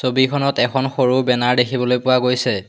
ছবিখনত এখন সৰু বেনাৰ দেখিবলৈ পোৱা গৈছে।